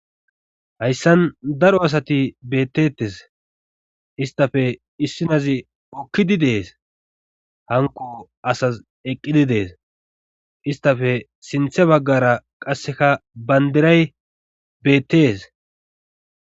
hayssan daro asati bettettes istafe issinazi hukkidi dees hanko asas eqqidi dees istafe sinthe baggara qasseka bandiray beettes